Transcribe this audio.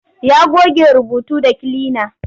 Ya goge rubutu da kilina.